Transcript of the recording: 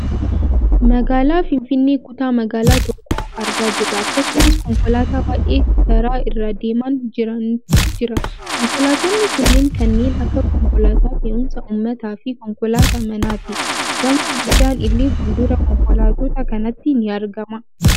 Magaalaa Finfinnee kutaa magaalaa tokkoo argaa jirra. Akkasumas konkolaataa baayyee karaa irra deemaan jirantu jira. Konkolaattonni kunneen kanneen akka konkolaataa fe'umsa uummataafi konkolaataa manaati. Gamoo guddaan illee fuuldura konkolaattota kanaatti ni argama.